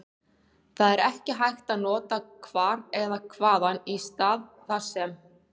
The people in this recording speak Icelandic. Því er ekki hægt að nota hvar eða hvaðan í stað þar sem.